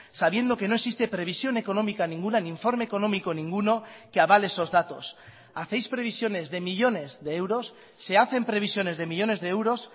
sabiendo que no existe previsión económica ninguna ni informe económico ninguno que avale esos datos hacéis previsiones de millónes de euros se hacen previsiones de millónes de euros